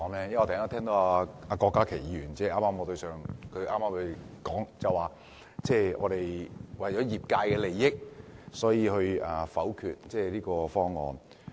因為我聽到郭家麒議員剛才說，我是為了業界的利益才否決這個方案。